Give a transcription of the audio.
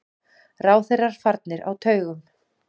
Ráðherrar farnir á taugum.